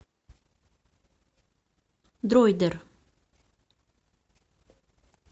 дроидер